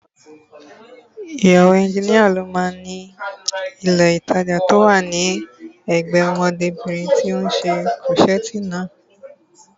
Ìyàwó ẹnjínìa ló máa ni ilé ìtajà tí ó wà ní ẹ̀gbẹ́ẹ ọmọdébìnrin tí ó ṣe kúrọ́ṣẹ̀ẹ̀tì naa